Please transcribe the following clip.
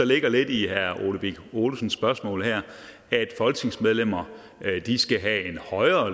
ligger lidt i herre ole birk olesens spørgsmål her at folketingsmedlemmer skal have en højere